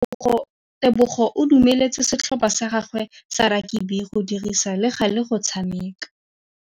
Tebogô o dumeletse setlhopha sa gagwe sa rakabi go dirisa le galê go tshameka.